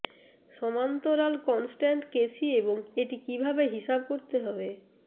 সমান্তরাল constant K C এবং এটি কিভাবে হিসাব করতে হবে